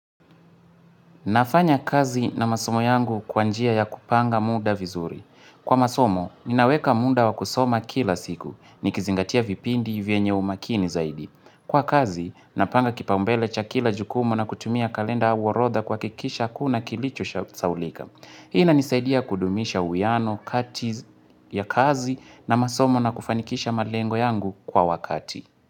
Nafanya kazi na masomo yangu kwanjia ya kupanga muda vizuri. Kwa masomo, ninaweka muda wakusoma kila siku. Nikizingatia vipindi vienye umakini zaidi. Kwa kazi, napanga kipambele cha kila jukumu na kutumia kalenda au orodha kuakikisha akunakilicho saulika. Ina nisaidia kudumisha uwiano, kati ya kazi na masomo na kufanikisha malengo yangu kwa wakati.